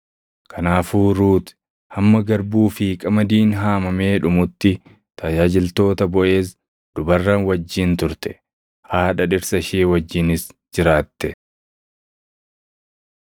Kanaafuu Ruut hamma garbuu fi qamadiin haamamee dhumutti tajaajiltoota Boʼeez dubarran wajjin turte. Haadha dhirsa ishee wajjinis jiraatte.